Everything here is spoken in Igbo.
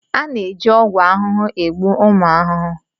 A na-eji ọgwụ ahụhụ egbu ụmụ ahụhụ.